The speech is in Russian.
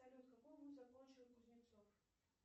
салют какой вуз закончил кузнецов